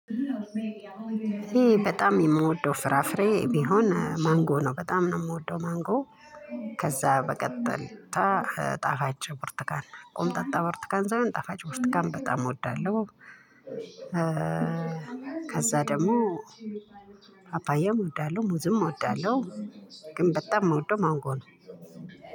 ይኔ በጣም የምወደው ፍራፍሬ ቢሆን ማንጎ ነው በጣም ነው ምወደው ማንጎ። ከዛ በቀጣይ ጣፋጭ ቡርትካን ቆምጣጣ ቡርትካን ሳይሆን ጣፋጭ ቡርትካን በጣም እወዳለሁ። ከዛ ደግሞ ፓፓያም እወዳለሁ ሙዝም እወዳለሁ። ግን በጣም እምወደው ማንጎ ነው።